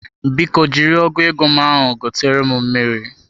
Biko jiri ọgu ego m ahụ gotere m mmiri.